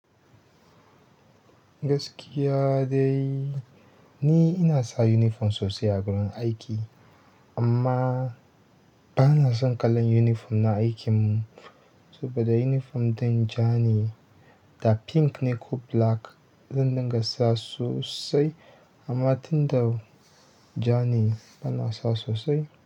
Gaskiya dai ni ina sa uniform sosai a wurin aiki amma bana son kalan uniform na aikinmu saboda uniform ɗin ja ne da pink ne ko black. Zan dinga sa sosai amma tunda ja ne bana sa sosai.